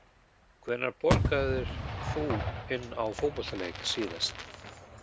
Hvenær borgaðir þú inn á fótboltaleik síðast?